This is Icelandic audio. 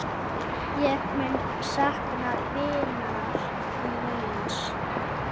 Ég mun sakna vinar míns.